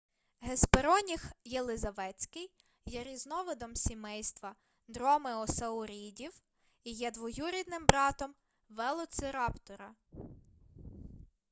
геспероніх єлизаветський є різновидом сімейства дромеосаурідів і є двоюрідним братом велоцираптора